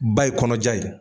Ba ye kɔnɔja ye.